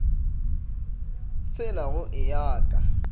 tshela go e ya ka